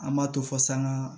An b'a to fo saŋa